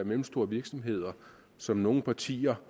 mellemstore virksomheder som nogle partier